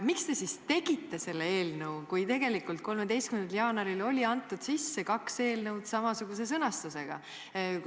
Miks te siis tegite selle eelnõu, kui tegelikult 13. jaanuaril oli antud sisse kaks eelnõu samasuguse sõnastusega?